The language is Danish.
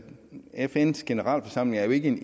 fns generalforsamling